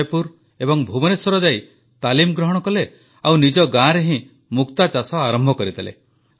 ଜୟପୁର ଏବଂ ଭୁବନେଶ୍ୱର ଯାଇ ତାଲିମ ଗ୍ରହଣ କଲେ ଆଉ ନିଜ ଗାଁରେ ହିଁ ମୁକ୍ତାଚାଷ ଆରମ୍ଭ କରିଦେଲେ